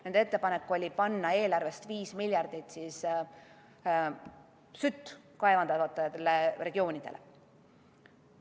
Nende ettepanek oli anda eelarvest 5 miljardit eurot sütt kaevandavatele regioonidele.